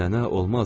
Nənə, olmaz.